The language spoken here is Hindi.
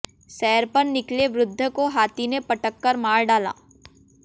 सैर पर निकले वृद्ध को हाथी ने पटक कर मार डाला